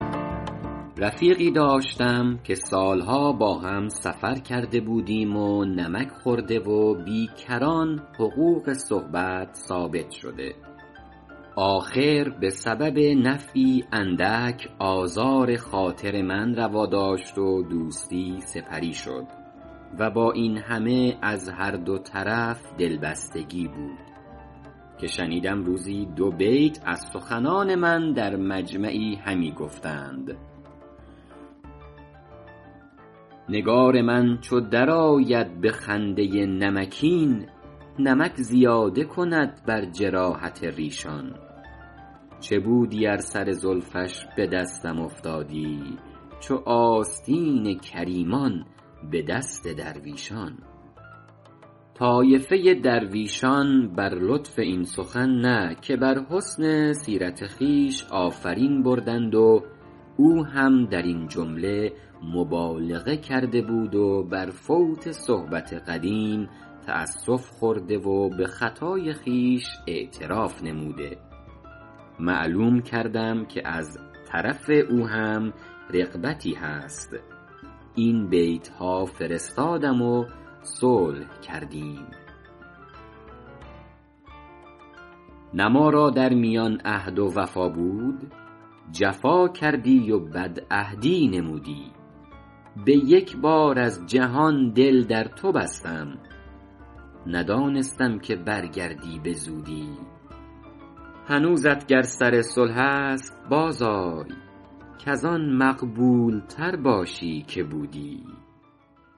رفیقی داشتم که سالها با هم سفر کرده بودیم و نمک خورده و بی کران حقوق صحبت ثابت شده آخر به سبب نفعی اندک آزار خاطر من روا داشت و دوستی سپری شد و با این همه از هر دو طرف دلبستگی بود که شنیدم روزی دو بیت از سخنان من در مجمعی همی گفتند نگار من چو در آید به خنده نمکین نمک زیاده کند بر جراحت ریشان چه بودی ار سر زلفش به دستم افتادی چو آستین کریمان به دست درویشان طایفه درویشان بر لطف این سخن نه که بر حسن سیرت خویش آفرین بردند و او هم در این جمله مبالغه کرده بود و بر فوت صحبت قدیم تأسف خورده و به خطای خویش اعتراف نموده معلوم کردم که از طرف او هم رغبتی هست این بیتها فرستادم و صلح کردیم نه ما را در میان عهد و وفا بود جفا کردی و بدعهدی نمودی به یک بار از جهان دل در تو بستم ندانستم که برگردی به زودی هنوزت گر سر صلح است باز آی کز آن مقبول تر باشی که بودی